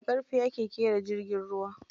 Da ƙarfe ake ƙera jirgin ruwa.